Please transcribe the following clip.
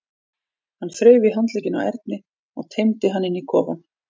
Hann þreif í handlegginn á Erni og teymdi hann inn í kofann.